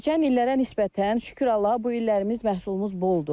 Keçən illərə nisbətən şükür Allaha bu illərimiz məhsulumuz boldur.